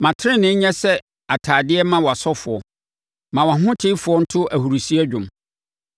Ma tenenee nyɛ sɛ ntadeɛ mma wʼasɔfoɔ; ma wʼahotefoɔ nto ahurisie dwom.’ ”